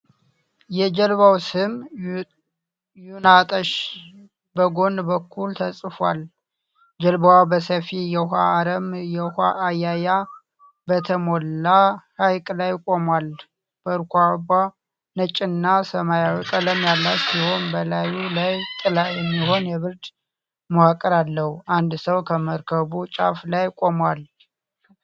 የጀልባው ስም "ዬጣናነሽ" በጎን በኩል ተጽፏል። ጀልባው በሰፊ የውኃ አረም (የውኃ አያያ) በተሞላ ሐይቅ ላይ ቆሟል። መርከቧ ነጭና ሰማያዊ ቀለም ያላት ሲሆን፣ በላዩ ላይ ጥላ የሚሆን የብረት መዋቅር አለው። አንድ ሰው ከመርከቡ ጫፍ ላይ ቆሟል።